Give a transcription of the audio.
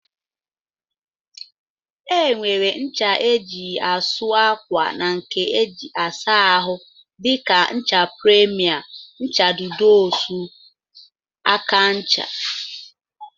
Enwere ncha eji asụ akwa na nke eji asa ahụ dika ncha premier, ncha dudu Osun, aka ncha wdg.